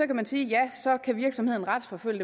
kan man sige at så kan virksomheden retsforfølge